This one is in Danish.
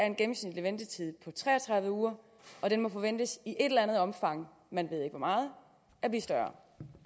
en gennemsnitlig ventetid på tre og tredive uger og den må forventes i et eller andet omfang man ved ikke hvor meget at blive større